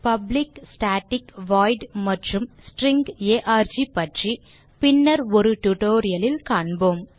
public static void மற்றும் string arg பற்றி பின்னர் ஒரு tutorial லில் காண்போம்